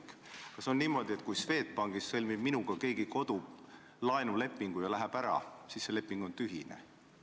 Kas siis on niimoodi, et kui Swedbankis sõlmib minuga keegi kodulaenulepingu ja läheb sealt ära, siis see leping on tühine?